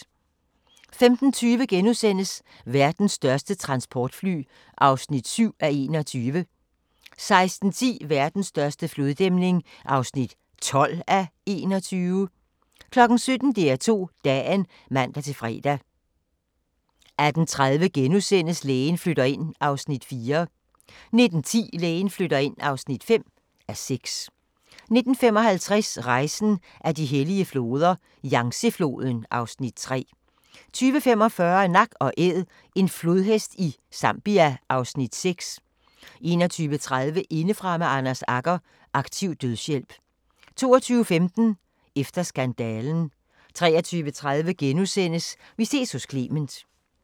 15:20: Verdens største transportfly (7:21)* 16:10: Verdens største floddæmning (12:21) 17:00: DR2 Dagen (man-fre) 18:30: Lægen flytter ind (4:6)* 19:10: Lægen flytter ind (5:6) 19:55: Rejsen ad de hellige floder - Yangtze-floden (Afs. 3) 20:45: Nak & Æd – en flodhest i Zambia (Afs. 6) 21:30: Indefra med Anders Agger – Aktiv dødshjælp 22:15: Efter skandalen 23:30: Vi ses hos Clement *